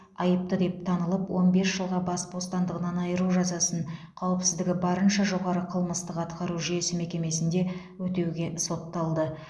айыпты деп танылып он бес жылға бас бостандығынан айыру жазасын қауіпсіздігі барынша жоғары қылмыстық атқару жүйесі мекемесінде өтеуге сотталды